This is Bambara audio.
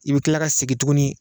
I bɛ tila ka segi tuguni